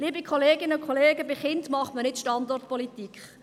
Liebe Kolleginnen und Kollegen, bei Kindern macht man nicht Standortpolitik.